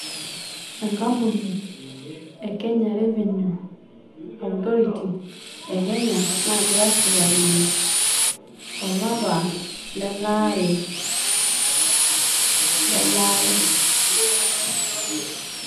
enkampuni e kenya revenue authority e kenya naagira aashipakino olapa le laare le laare.